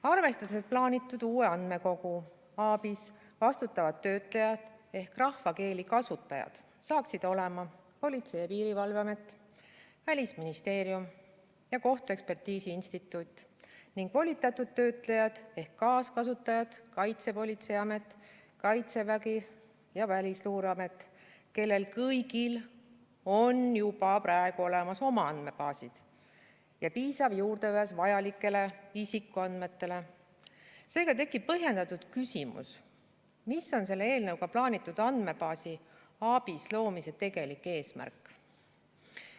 Arvestades, et plaanitud uue andmekogu ABIS vastutavad töötlejad ehk rahvakeeli kasutajad saaksid olema Politsei- ja Piirivalveamet, Välisministeerium ja Eesti Kohtuekspertiisi Instituut, ning volitatud töötlejad ehk kaaskasutajad Kaitsepolitseiamet, Kaitsevägi ja Välisluureamet, kellel kõigil on juba praegu olemas oma andmebaasid ja piisav juurdepääs vajalikele isikuandmetele, tekib põhjendatud küsimus, mis on selle eelnõuga plaanitud andmebaasi ABIS loomise tegelik eesmärk.